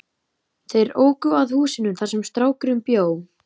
Þeir óku að húsinu þar sem strákurinn bjó.